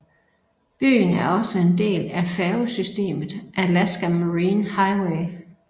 Byen er også en del af færgesystemet Alaska Marine Highway